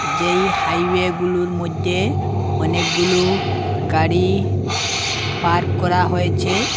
যেই হাইওয়েগুলোর মইধ্যে অনেকগুলো গাড়ি পার্ক করা হয়েছে।